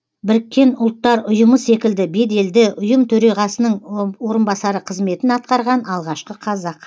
біріккен ұлттар ұйымы секілді беделді ұйым төрағасының орынбасары қызметін атқарған алғашқы қазақ